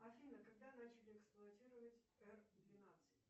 афина когда начали эксплуатировать р двенадцать